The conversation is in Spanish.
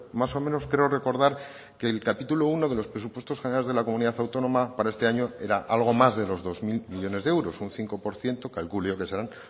más o menos creo recordar que el capítulo primero de los presupuestos generales de la comunidad autónoma para este año era algo más de los dos mil millónes de euros un cinco por ciento calculo yo que serán